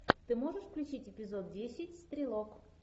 ты можешь включить эпизод десять стрелок